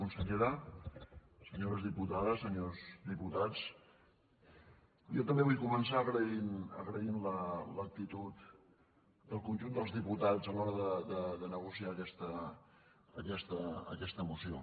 consellera senyores diputades senyors diputats jo també vull començar agraint l’actitud del conjunt dels diputats a l’hora de negociar aquesta moció